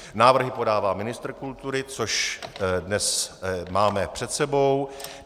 Návrhy podává ministr kultury, což dnes máme před sebou.